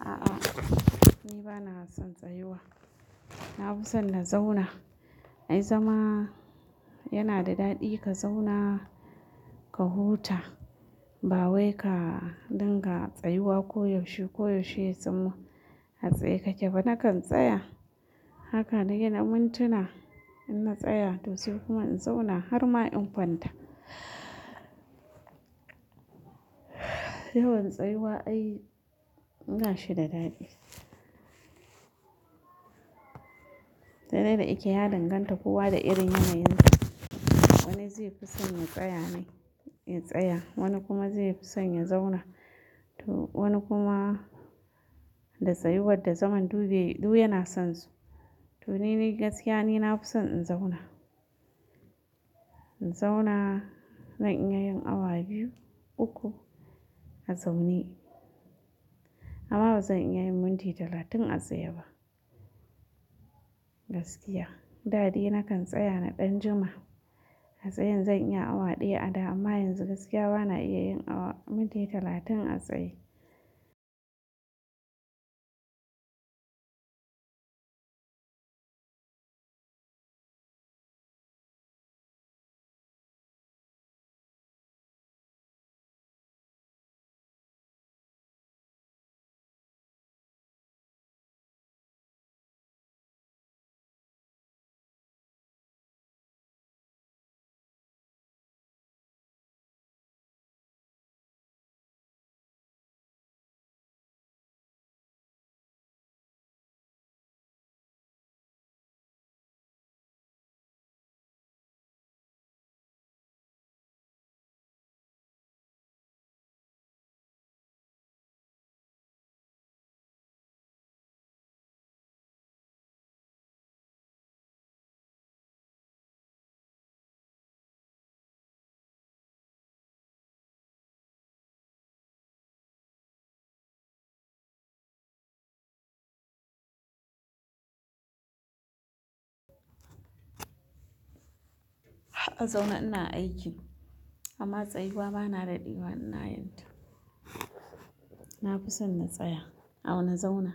A'a ni bana son tsayuwa. Na fi son na zauna. Ai zama yana da daɗi ka zauna ka huta ba wai ka dinga tsayuwa koyaushe koyaushe tsamma a tsaye. Kake bana kan tsaya haka nake na mintuna inna tsaya to sai kuma in zauna har ma in kwanta. Yawan tsayuwa ai ba shi da daɗi. Sai dai da yake ya danganta kowa da irin yanayin sa. Wani zai fi son ya tsaya ne ya tsaya, wani kuma zai fi son ya zauna. To wani kuma da tsayuwar da zaman duk biyu yana son su. To ni dai gaskiya ni na fi son in zauna. In zauna zan iya yin awa biyu uku a zaune amma bazan iya yin minti talatin a tsaye ba gaskiya. Dadai na kan tsaya na ɗan jima a tsayan zan iya awa ɗaya a da amma yanzu gaskiya bana iya yin awa minti talatin a tsaye. A zauna ina aiki amma tsayuwa bana daɗewa ina yin ta. Na fi son na tsaya. Au na zauna.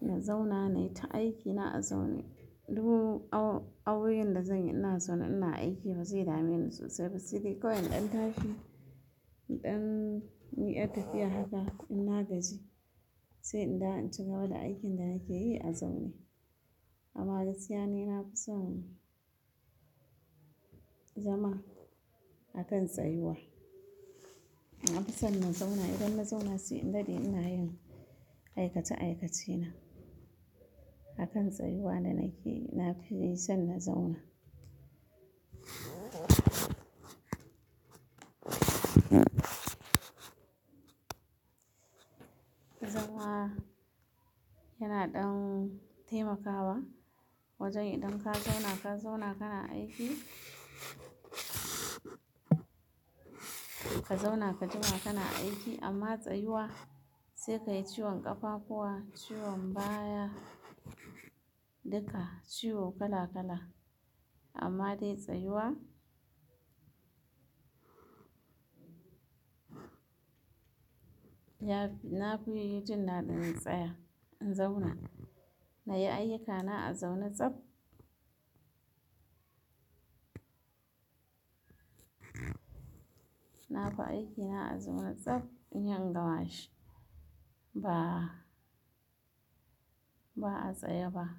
Na zauna nayi ta aiki na a zaune. Duk awoyin da zan yi ina zauna ina aiki bazai dame ni sosai ba. Sai dai kawai in ɗan tashi inɗan yi'yar tafiya haka inna gaji sai in dawo in cigaba da aikin da nake yi a zaune. Amma gaskiya ni na fi son zama akan tsayuwa. Na fi son na zauna idan na zauna sai in daɗe ina yin aikace aikace na. Akan tsayuwa da nake yi na fi son na zauna. Zama yana ɗan taimakawa wajen idan ka zauna ka zauna kana aiki ka zauna ka jima kana aiki amma tsayuwa sai ka yi ciwon ƙafa kuwa ciwon baya duka ciwo kala kala amma dai tsayuwa ya fi. Na fi jin da ɗin tsaya. In zauna na yi ayyuka na a zaune tsab. Na fi aiki na a zaune tsab in yi ingamashi ba a tsaye ba.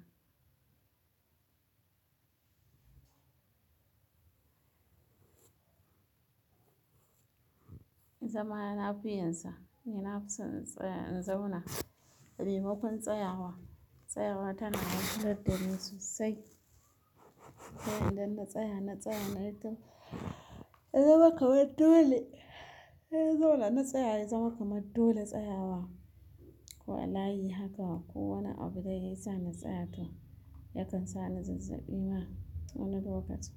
Zama na fi yinsa. Ni na fi son in tsaya in zauna. Memakon tsayawa, tsayawa tana wahalar da ni sosai. Sai idan na tsaya na tsaya na yi ta zama kamar dole. Na zauna na tsaya yazama kamar dole tsayawa. Ko a layi haka ko wani abu dai yasa na tsaya to yakan sa ni zazzabi ma wani lokaci.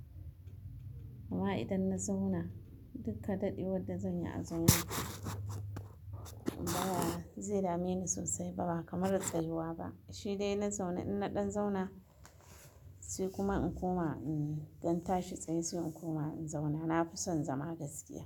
Amma idan na zauna dukka daɗewar da zan yi a zaune ba zai dame ni sosai ba kamar a tsayuwa ba. Shi dai na zaune in na ɗan zauna sai kuma in koma in ɗanta shi tsaye sai in koma in zauna. Na fi son zama gaskiya.